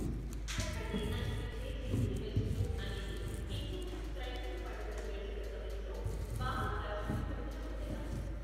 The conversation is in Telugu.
ఖట్ఖటే అని పిలిచే మిక్సిడ్ వెజ్ స్ట్రూ అనేది హిందూ, క్రైస్తవ పండుగల వేడుకల సమయంలో బాగా ప్రాచుర్యం పొందిన వంటకం.